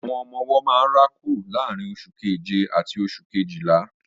Àwọn ọmọ-ọwọ́ máa ń rákò láàrín oṣù keje àti oṣù Kejìlá